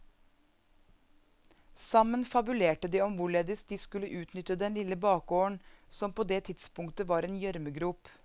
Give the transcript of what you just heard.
Sammen fabulerte de om hvorledes de skulle utnytte den lille bakgården, som på det tidspunktet var en gjørmegrop.